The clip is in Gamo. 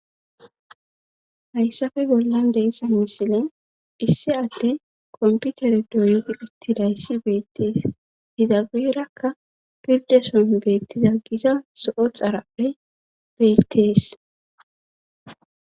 Hayssafe bollan deessa misile issi adde komputere doydi uttidayssi beettees hizageerakka pirdeson beettiza gisa so7o xarapphe beettees